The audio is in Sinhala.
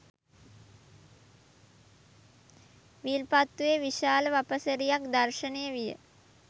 විල්පත්තුවේ විශාල වපසරියක් දර්ශනය විය.